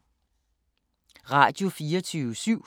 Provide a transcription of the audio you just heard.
Radio24syv